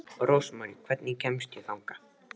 Rósmarý, hvernig kemst ég þangað?